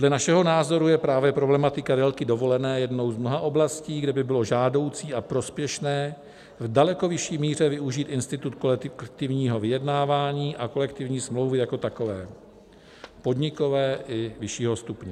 Dle našeho názoru je právě problematika délky dovolené jednou z mnoha oblastí, kde by bylo žádoucí a prospěšné v daleko vyšší míře využít institut kolektivního vyjednávání a kolektivní smlouvy jako takové, podnikové i vyššího stupně.